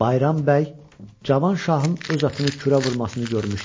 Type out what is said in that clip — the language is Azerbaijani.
Bayram bəy Cavanşahın öz atını kürə vurmasını görmüşdü.